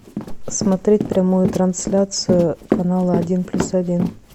смотреть прямую трансляцию канала один плюс один